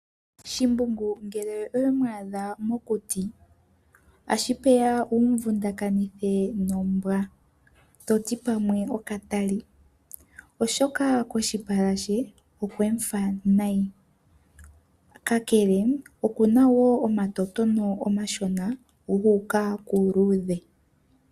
Shimbungu ngele owe mu adha mokuti, ohashi peya wumu vundakanithe nombwa toti pamwe okatali, oshoka koshipala she okwe mu fa nayi, ka kele oku na wo omatotono omashona gu uka kuuluudhe.